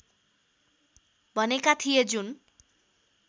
भनेका थिए जुन